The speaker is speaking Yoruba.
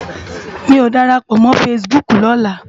Mi ó ni dàrápò mò fãsibúk lòlá